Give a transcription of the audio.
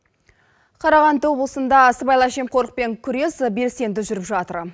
қарағанды облысында сыбайлас жемқорлықпен күрес белсенді жүріп жатыр